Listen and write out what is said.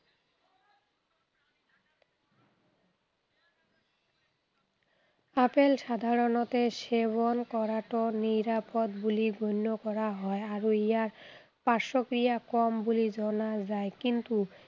Apple সাধাৰণতে সেৱন কৰাটো নিৰাপদ বুলি গণ্য় কৰা হয় আৰু ইয়াৰ পাৰ্শ্বক্ৰিয়া কম বুলি জনা যায়। কিন্তু